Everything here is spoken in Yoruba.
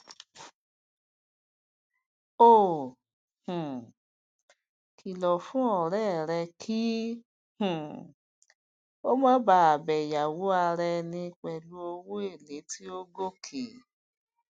ó um kìlọ fún ọrẹ rẹ kí um ó má ba bẹ yawó ara ẹni pẹlú owóele tí ó gòkè